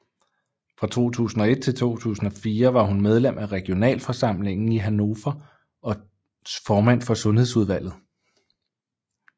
Fra 2001 til 2004 var hun medlem af regionalforsamlingen i Hannover og formand for sundhedsudvalget